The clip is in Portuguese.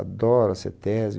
Adoro a CETESBI.